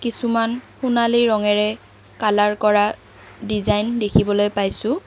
কিছুমান সোণালী ৰঙেৰে কালাৰ কৰা ডিজাইন দেখিবলৈ পাইছোঁ।